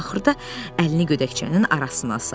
Axırda əlini gödəkçənin arasına saldı.